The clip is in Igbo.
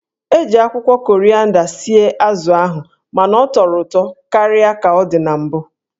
E ji akwụkwọ korịanda sie azụ ahụ mana ọ tọrọ ụtọ karịa ka ọ dị na mbụ.